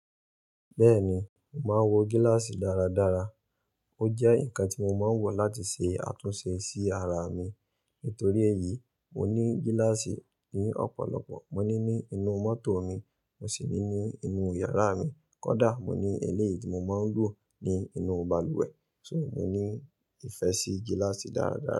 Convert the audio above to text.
Bẹ́ẹ̀ni, mò ń wo gíláàsì dáradára. Ó jẹ́ ǹkan tí mo máa ń wò láti ṣe àtúnṣe sí ara mi. Nítorí èyí, mo ní gíláàsì ni ọ̀pọ̀lọpọ̀. Mo ní ní inú mọ́tò mi, mo sì ní ní inú yàrá mi. Kódà mo ní eléyìí tí mo máa ń lò ní inú balùwẹ̀. So, mo ní ìfẹ́ sí gíláàsì dáradára.